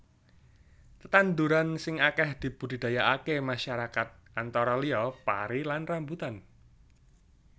Tetandhuran sing akèh dibudidayaaké masyarakat antara liya pari lan rambutan